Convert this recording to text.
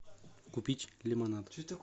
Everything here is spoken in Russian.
купить лимонад